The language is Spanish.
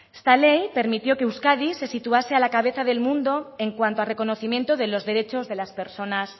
esta ley permitió que euskadi se situase a la cabeza del mundo en cuanto a reconocimiento de los derechos de las personas